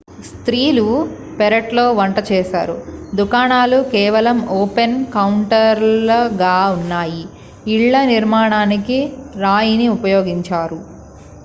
స్త్రీలు పెరట్లో వంట చేశారు దుకాణాలు కేవలం ఓపెన్ కౌంటర్లు గా ఉన్నాయి ఇళ్ల నిర్మాణానికి రాయిని ఉపయోగించారు